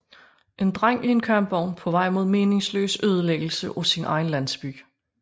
En dreng i en kampvogn på vej mod meningsløs ødelæggelse af sin egen landsby